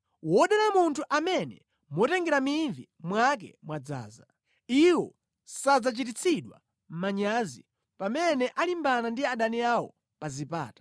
Wodala munthu amene motengera mivi mwake mwadzaza. Iwo sadzachititsidwa manyazi pamene alimbana ndi adani awo pa zipata.